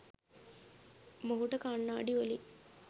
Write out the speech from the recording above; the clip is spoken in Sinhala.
මොහුට කණ්නාඩි වලින්